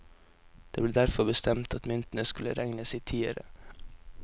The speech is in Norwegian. Det ble derfor bestemt at myntene skulle regnes i tiere.